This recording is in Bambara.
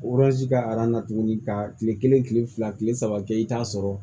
ka tuguni ka kile kelen kile fila kile saba kɛ i t'a sɔrɔ